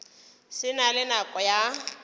se na le nako ya